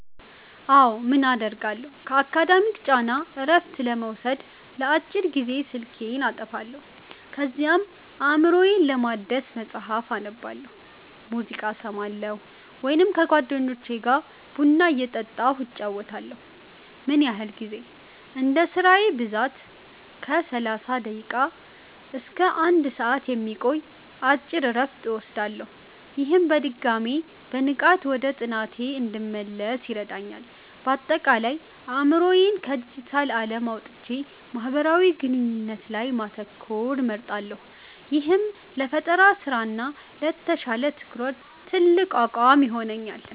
አዎ, ምን አደርጋለሁ? ከአካዳሚክ ጫና እረፍት ለመውሰድ ለአጭር ጊዜ ስልኬን አጠፋለሁ። ከዚያም አእምሮዬን ለማደስ መጽሐፍ አነባለሁ፣ ሙዚቃ እሰማለሁ ወይም ከጓደኞቼ ጋር ቡና እየጠጣሁ እጨዋወታለሁ። ምን ያህል ጊዜ? እንደ ስራዬ ብዛት ከ30 ደቂቃ እስከ 1 ሰዓት የሚቆይ አጭር እረፍት እወስዳለሁ። ይህም በድጋሚ በንቃት ወደ ጥናቴ እንድመለስ ይረዳኛል። ባጠቃላይ፦ አእምሮዬን ከዲጂታል ዓለም አውጥቼ ማህበራዊ ግንኙነት ላይ ማተኮርን እመርጣለሁ፤ ይህም ለፈጠራ ስራ እና ለተሻለ ትኩረት ትልቅ አቅም ይሆነኛል።